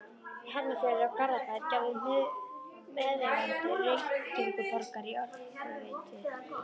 Hafnarfjörður og Garðabær gerðust meðeigendur Reykjavíkurborgar í Orkuveitu